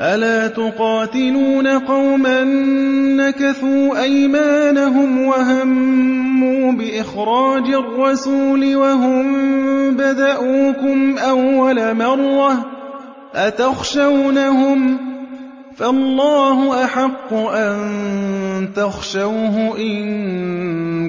أَلَا تُقَاتِلُونَ قَوْمًا نَّكَثُوا أَيْمَانَهُمْ وَهَمُّوا بِإِخْرَاجِ الرَّسُولِ وَهُم بَدَءُوكُمْ أَوَّلَ مَرَّةٍ ۚ أَتَخْشَوْنَهُمْ ۚ فَاللَّهُ أَحَقُّ أَن تَخْشَوْهُ إِن